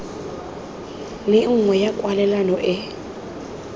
le nngwe ya kwalelano e